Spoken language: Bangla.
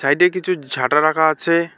সাইডে কিছু ঝাঁটা রাখা আছে।